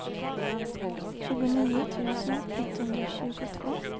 tjugonio tusen etthundratjugotvå